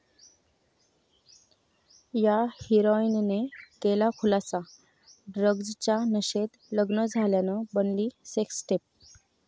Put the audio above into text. या हिराॅईनने केला खुलासा, ड्रग्जच्या नशेत लग्न झाल्यानं बनली सेक्सटेप